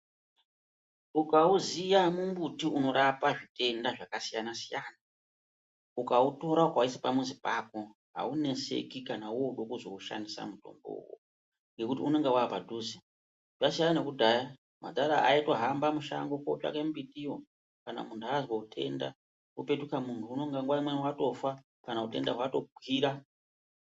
Ukauziya mumbuti unorapa zvitenda zvakasiyana-siyana ukautora ukauisa pamuzi pako auneseki kana woode kuzoushandisa mutombo uwowo ngekuti unenge waapadhuze, zvasiyana nekudhaya madhara aitohamba mushango kootsvake mbitiyo kana munhu azwa utenda upetuka munhu nguwa imweni unenge watofa kana utenda hwatokwira.